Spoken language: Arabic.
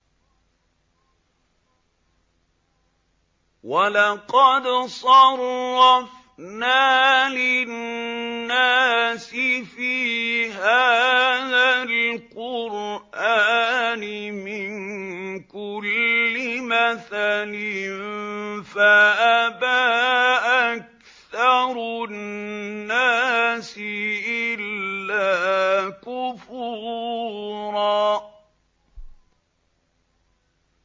وَلَقَدْ صَرَّفْنَا لِلنَّاسِ فِي هَٰذَا الْقُرْآنِ مِن كُلِّ مَثَلٍ فَأَبَىٰ أَكْثَرُ النَّاسِ إِلَّا كُفُورًا